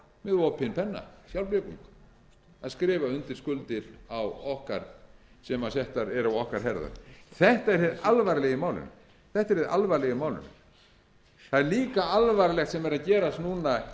opinn penna sjálfblekung að skrifa undir skuldir sem settar eru á okkar herðar þetta er hið alvarlega í málinu það er líka alvarlegt sem er að gerast núna